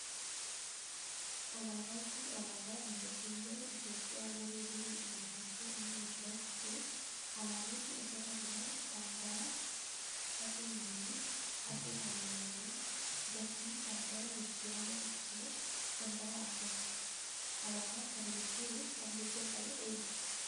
Alaabaan Kun alaaba biyya keenyaa iitoophiyaa yeroo durii irraa kaase Amma ammatti jiru alaabonni asirra jiran kan bara: atse minilikii, atsee hayilemarem, dargii, kan bara jijjirama akkasumas kan bara ammatti. alaaba kana jijjiruuf kan mirga qabu eenyu?